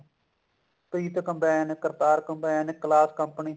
Preet combine Kartar combine Claas company